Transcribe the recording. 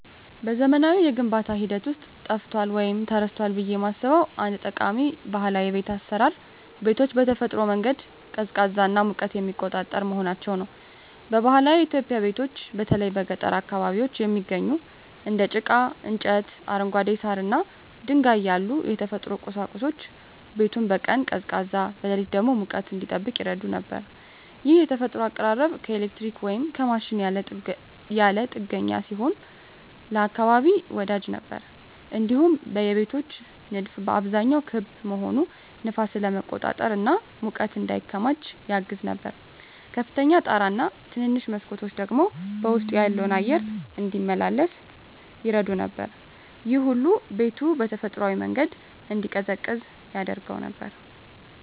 በዘመናዊው የግንባታ ሂደት ውስጥ ጠፍቷል ወይም ተረስቷል ብዬ የማስበው አንድ ጠቃሚ ባህላዊ የቤት አሰራር ቤቶችን በተፈጥሯዊ መንገድ ቀዝቃዛና ሙቀትን የሚቆጣጠር መሆናቸው ነው። በባህላዊ ኢትዮጵያዊ ቤቶች በተለይ በገጠር አካባቢዎች የሚገኙት እንደ ጭቃ፣ እንጨት፣ አረንጓዴ ሳር እና ድንጋይ ያሉ የተፈጥሮ ቁሳቁሶች ቤቱን በቀን ቀዝቃዛ፣ በሌሊት ደግሞ ሙቀት እንዲጠብቅ ይረዱ ነበር። ይህ የተፈጥሮ አቀራረብ ከኤሌክትሪክ ወይም ከማሽን ያለ ጥገኛ ሲሆን ለአካባቢ ወዳጅ ነበር። እንዲሁም የቤቶች ንድፍ በአብዛኛው ክብ መሆኑ ነፋስን ለመቆጣጠር እና ሙቀት እንዳይከማች ያግዝ ነበር። ከፍተኛ ጣራ እና ትንንሽ መስኮቶች ደግሞ ውስጡ ያለው አየር እንዲመላለስ ይረዱ ነበር። ይህ ሁሉ ቤቱ በተፈጥሯዊ መንገድ እንዲቀዝቅዝ ያደርገው ነበር።